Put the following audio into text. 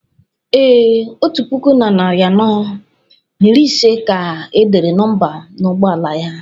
Ee, otu puku na narị anọ na iri ise ka e dere nọmba n’ụgbọ ala ya